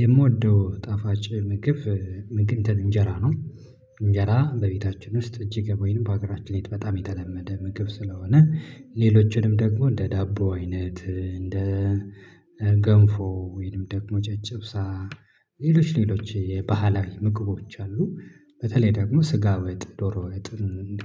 የምወደው ጣፋጭ ምግብ እንትን እንጀራ ነው። እንጀራ በቤታችን ውስጥ እጅግ ወይንም በሀገራችን ላይ በጣም የተለመደ ምግብ ስለሆነ ሌሎችንም ደግሞ እንደ ዳቦ አይነት እንደ ገንፎ ወይንም ደግሞ ጨጭብሳ ሌሎች ሌሎች የባህላዊ ምግቦች አሉ። በተለይ ደግሞ ስጋ ወጥ ዶሮ ወጥ